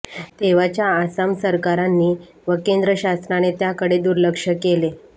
तेव्हाच्या आसाम सरकारांनी व केंद्र शासनाने त्याकडे दुर्लक्ष केले